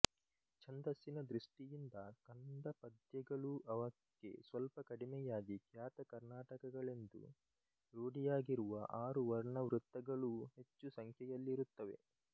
ಛಂದಸ್ಸಿನ ದೃಷ್ಟಿಯಿಂದ ಕಂದಪದ್ಯಗಳೂ ಅವಕ್ಕೆ ಸ್ವಲ್ಪ ಕಡಿಮೆಯಾಗಿ ಖ್ಯಾತ ಕರ್ಣಾಟಕಗಳೆಂದು ರೂಢಿಯಾಗಿರುವ ಆರು ವರ್ಣವೃತ್ತಗಳೂ ಹೆಚ್ಚು ಸಂಖ್ಯೆಯಲ್ಲಿರುತ್ತವೆ